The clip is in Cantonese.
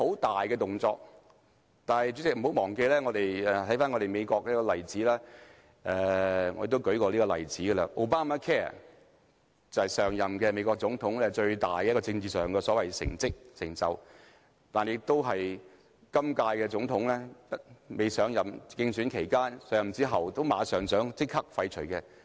動作似乎十分大，但看看美國的例子，我也曾列舉過這個例子，便是 Obamacare， 這是上任美國總統自詡最大的政治成就，但也是今屆總統在競選期間、上任後想立刻廢除的政策。